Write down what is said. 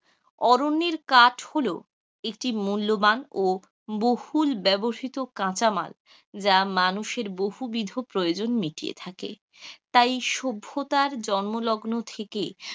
অরণ্যের কাঠ হল একটি মুল্যবান ও বহুল ব্যবহৃত কাঁচামাল যা মানুষের বহু দীর্ঘ প্রয়োজন মিটিয়ে থাকে, তাই সভ্যতার জন্মলগ্ন থেকে,